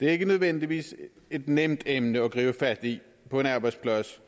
er ikke nødvendigvis et nemt emne at tage fat i på en arbejdsplads